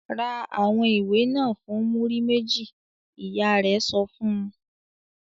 "Ra àwọn ìwé náà fún múrí méjì!" Ìyá rẹ̀ sọ fún un.